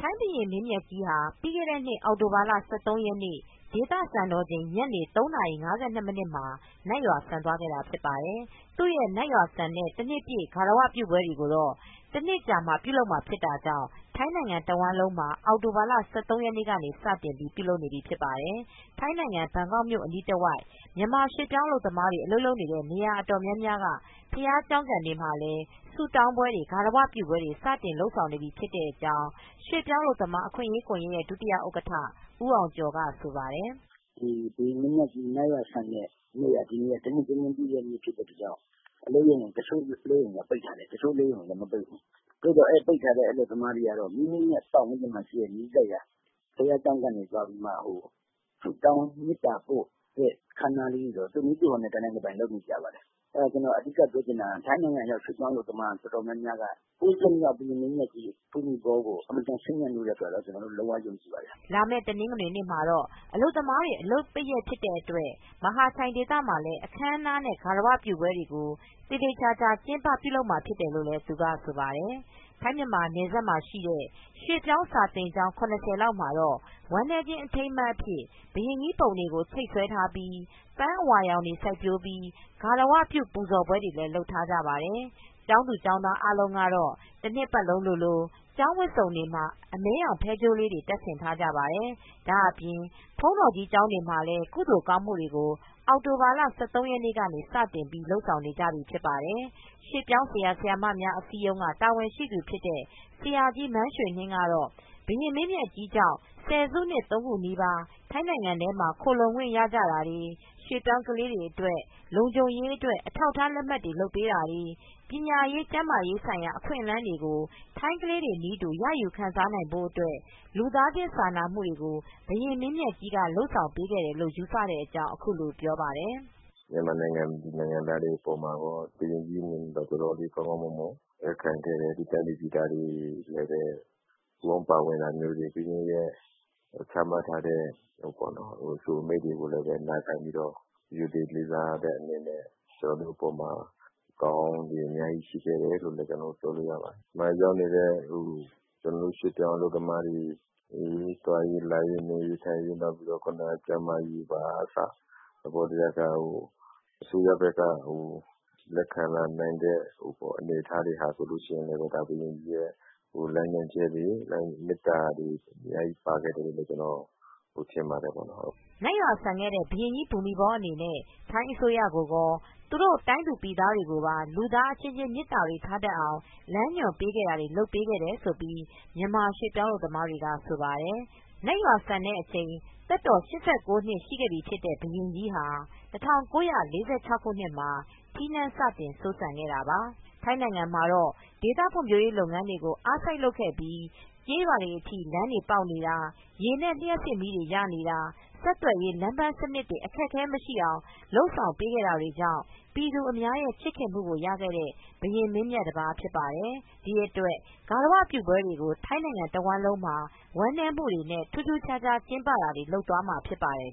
ထိုင်းဘုရင်မင်းမြတ်ဟာ ပြီးခဲတဲ့နှစ် အောက်တိုဘာလ ၁၃ရက်နေ့ဒေသစံတော်ချိန် ညနေ ၃နာရီ ၅၂မှာ နတ်ရွာစံသွားခဲ့တာ ဖြစ်ပါတယ်။ သူနတ်ရွာစံတဲ့ တနှစ်ပြည့် ဂါရဝပြုပွဲတွေ ကိုတော့ တနှစ်ကြာမှာပြုလုပ်မှာဖြစ်တာကြောင့် ထိုင်းနိုင်ငံတဝှမ်းလုံး မှာအောက်တို ဘာလ ၁၃ရက်နေ့ကစတင်ပြီး ပြုလုပ်နေပြိဖြစ်ပါတယ်။ ထိုင်းနိုင်ငံ ဘန်ကောက်မြိုနဲ့ အနီးတဝိုက်မြန်မာရွှေ့ပြောင်းအလုပ်သမားတွေ အလုပ်လုပ်တဲ့နေရာ အတော်များများကဘုရားကျောင်းကန်တွေမှာ ဆုတောင်းပွဲတွေ ဂါရဝပြုပွဲတွေ စတင်လုပ်ဆောင်နေပြိဖြစ်ကြောင်း ရွေပြောင်းအလုပ်သမားအခွင့်ရေး ကွန်ယက်ရဲ့ဒုဥက္ကဋ္ဌ ဦးအောင်ကျော်ကဆိုပါတယ်။ "ဘုရင်မင်းမြတ်ကြီး နတ်ရွာစံတဲ့တနှစ်ပြည့်တဲ့နေ့ဖြစ်တဲ့အတွက်တချို့စက်ရုံအလုပ်ရုံတွေ ပိတ်တယ် တချိုစက်ရုံတွေကတော့ မပိတ်သေးဘူး ပိတ်ထားတဲ့ အလုပ်ရုံတွေကတော့ မိမိတို့နဲ့ နီးစပ်ရာဘုရားကျောင်းကန်တွေမှာ ဆုတောင်းမေတ္တာပို့တာတွေ တနိုင်တပိုင် လုပ်ပါတယ် ထိုင်းနိုင်ငံရောက်မြန်မာရွှေ့ပြောင်း အလုပ်သမား အတော်များများက ၉ဆက်မြောက် ဘုရင်ကြိးဘူမိဘောကို အတော်ချစ်မြတ်နိုးတဲ့အတွက် လုပ်ရခြင်းဖြစ်ပါတယ်" လာမယ့်တနင်္ဂနွေမှာတော့ အလုပ်သမားတွေ အလုပ်ပိတ်ရက်ဖြစ်တာကြောင့် မဟာချိုင်ဒေသမှာ အခမ်းအနားနဲ့ဂါရဝပြုပွဲကို သေချာ ကျင်းပမှာဖြစ်တယ်လို့လည်း သူကဆိုပါတယ် ထိုင်းမြန်မာနယ်စပ်မှာရှိတဲ့ ရွှေ့ပြောင်းစာသင်ကျောင်း ရဝလောက်မှာတော့ ဝမ်းနည်းခြင်း အထိမ်းအမှတ်အဖြစ် ဘုရင်ကြိးပုံတွေကိုချိတ်ဆွဲထားပြိး ပန်းအဝါရောင်တွေစိုက်ပျိုးပြိး ဂါရဝပြုပူဇော်မူတွေလည်းလုပ်ထားကြပါတယ်။ ကျောင်းသူကျောင်းသားများ အားလုံးကတော့ တနှစ်ပတ်လုံးလိုလို ကျောင်းဝတ်စုံတွေမှာ အမဲရောင်ဖဲကြိုးလေးတွေ တပ်ဆင်ထားပါတယ် ဒါအပြင် ဘုန်းတော်ကြီးကျောင်းတွေမှာလည်း ကုသိုလ်ကောင်းမူတွေကို အောက်တိုဘာလ၁၃ရက်နေ့ စနေက စတင်ပြိး လုပ်ဆောင်နေကြပါတယ်။ ရွှေ့ပြောင်းဆရာဆရာမများအစည်းအရုံးက တာဝန်ရှိသူဖြစ်တဲ့ ဆရာကြီးမန်းရွှေနှင်း ကတော့ ဘုရင်မင်းမြတ်ကြီးကြောင့်ဆယ်စုနှစ် ၃ခုနီးပါ ထိုင်းနိုင်ငံထဲမှာ ခိုလှုံခွင့်ရကြတာတွေ ရွှေ့ပြောင်းကလေးတွေ အတွက် လုံခြုံရေးအတွက် အထောက်အထား လက်မှတ်တွေလုပ်ပေးတာတွေ ပညာရေးကျန်းမာရေးဆိုင်ရာ အခွင့်အလန်းတွေကို ထိုင်းကလေးတွေနည်းတူ ရယူခံစားနိုင်ဖို့အတွက် လူသားချင်စာနာမူတွေကို ဘုရင်မင်းမြတ်ကြီးက လုပ်ဆောင်ပေးခဲ့တယ်လို့ ယူဆတဲ့အကြောင်းအခုလိုပြောပါတယ်။ "မြန်မာနိုင်ငံသားတွေအပေါ်မှာ ဘုရင်ကြီးအနေနဲ့ တော်တော်လေး ကောင်းကောင်းမွန်မွန် လက်ခံခဲ့တယ် သူတိုင်းပြည်သူတွေကလည်း ပူးပေါင်းပါဝင်တာမျိုးတွေ ဘုရင်ကြီး ချမှတ်ထားတဲ့ အဆိုအမိန့်တွေကိုနာခံပြိးတော့ ရိုသေလေးစားပြိးတော့ ကျနော်တို့ကိုကောင်းကောင်းမွန် ထားတာ လက်ခံမူတွေ ရှိခဲ့တယ် ကျနော်တို့ ရွှေ့ပြောင်း အလုပ်သမားတွေ နေရေးထိုင်ရေး သွားလာရေး ကျန်းမာရေးကအစ အစိုးရ ဘက်ကလက်ခံခဲ့တာတွေဟာ ဘုရင်ကြီးရဲ့လမ်းညွန်ချက်တွေကြောင့်လို့ ကျနော်ထင်ပါတယ်။" နတ်ရွာစံခဲ့တဲ့ ဘုရင်ကြီးဘူမိဘောအနေနဲ့ထိုင်းအစိုးရကိုကော သူတို့တိုင်းသူပြည်သား ကိုပါ လူသားအချင်းချင်းမေတ္တာတွေထားအောင် လမ်းညွန်ပေးခဲ့တာတွေ လုပ်ပေးခဲ့တယ်လို့ မြန်မာရွှေ့ပြောင်းအလုပ်သမားတွေကဆိုပါတယ်။ နတ်ရွာစံချိန်သက်တော် ၈၉ နှစ်ရှိခဲ့ပြီဖြစ်တဲ့ ဘုရင်ကြီးဟာ ၁၉၄၆ ခုနှစ်မှာ ထီးနန်း စတင် စိုးစံခဲ့တာပါ။ ထိုင်းနိုင်ငံမှာတော့ ဒေသဖွံဖြိုးရေး လုပ်ငန်းတွေကို အားစိုက်လုပ်ခဲ့ပြီး ကျေးရွာတွေအထိ လမ်းတွေပေါက်နေတာ ရေနဲ့ လျပ်စစ်မီးတွေရနေတာ ဆက်သွယ်ရေး လမ်းပမ်စံနစ်တွေ အခက်အခဲမရှိအောင် လုပ်ဆောင်ပေးခဲ့ တာတွေကြောင့် ပြည်သူအများရဲ့ ချစ်ခင်မူကိုရရှိခဲ့တဲ့ ဘုရင်မင်းမြတ် တပါးဖြစ်ပါတယ်။ ဒီအတွက်ဂါရဝပြုပွဲတွေကို ထိုင်းနိုင်ငံ တဝှမ်းလုံးမှာ ဝမ်းနည်းမူတွေနဲ့ ထူးထူးခြားခြား ကျင်းပတာတွေ လုပ်သွားမှာဖြစ်ပါတယ်